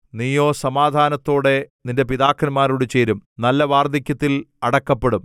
നീയോ സമാധാനത്തോടെ നിന്റെ പിതാക്കന്മാരോട് ചേരും നല്ല വാർദ്ധക്യത്തിൽ അടക്കപ്പെടും